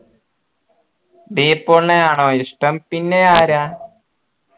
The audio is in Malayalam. ഡി പോൾനെയാണോ ഇഷ്ടം പിന്നെ ആരാ